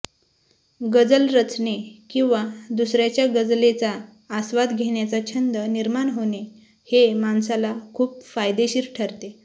गजल रचणे किंवा दुसऱ्याच्या गजलेचा आस्वाद घेण्याचा छंद निर्माण होणे हे माणसाला खूप फायदेशीर ठरते